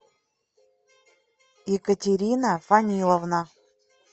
екатерина фаниловна